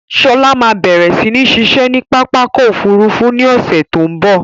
Sọlá máa bẹ̀rẹ̀ si ni ṣiṣẹ́ ni pápákọ̀ Òfurufú ni ọ̀sẹ̀ tó ń bọ̀.